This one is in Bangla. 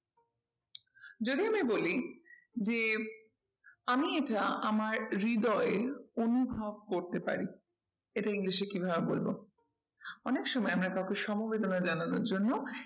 যদি আমি বলি যে আমি এটা আমার হৃদয়ে অনুভব করতে পারি এটা english এ কিভাবে বলবো? অনেক সময় আমরা কাউকে সমবেদনা জানানোর জন্য